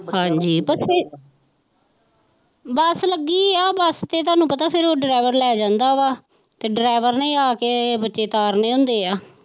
ਹਾਂਜੀ ਬਸੇ ਬਸ ਲੱਗੀ ਆ ਬਸ ਤੇ ਤੁਹਾਨੂੰ ਪਤਾ ਫਿਰ ਉਹ ਡਰਾਇਵਰ ਲੈ ਜਾਂਦਾ ਵਾ ਤੇ ਡਰਾਇਵਰ ਨੇ ਹੀ ਆ ਕੇ ਬੱਚੇ ਉਤਾਰਨੇ ਹੁੰਦੇ ਆ।